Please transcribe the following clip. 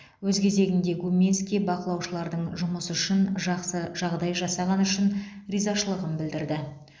өз кезегінде гуминский бақылаушылардың жұмысы үшін жақсы жағдай жасағаны үшін ризашылығын білдірді